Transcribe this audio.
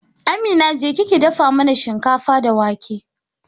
Amina, jeki ki dafa mana shinkafa da wake